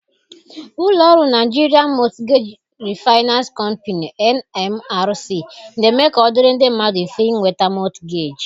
Ụlọ ọrụ Nigerian Mortgage Refinance Company (NMRC) na-eme ka ọ dịrị ndị mmadụ mfe ịnweta mọtgeeji.